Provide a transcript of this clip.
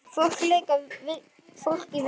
Fólk að leika fólk í vinnu.